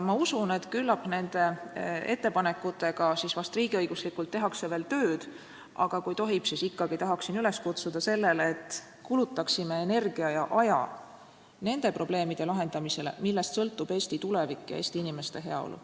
Ma usun, et küllap nende ettepanekutega tehakse riigiõiguslikult veel tööd, aga kui tohib, siis ma ikkagi tahan üles kutsuda, et me kulutaksime energia ja aja nende probleemide lahendamisele, millest sõltub Eesti tulevik ja Eesti inimeste heaolu.